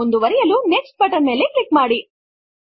ಮುಂದುವರೆಯಲು next button ಮೇಲೆ click ಮಾಡಿ